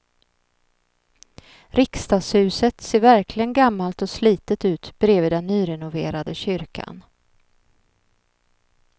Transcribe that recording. Riksdagshuset ser verkligen gammalt och slitet ut bredvid den nyrenoverade kyrkan.